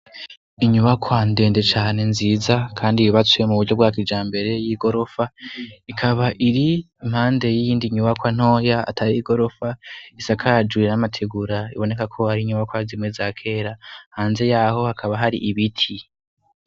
Inyubakwa ndendecane nziza, kandi bibatsuye mu buryo bwak ija mbere y'i gorofa ikaba iri impande yindi nyubakoantoya atari i gorofa isakajuiye n'amategura iboneka ko hari inyubakwazimwe za kera hanze yaho hakaba hari ibiti.